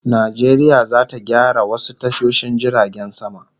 Najeriya zata gyara wasu tashoshin jiragen sama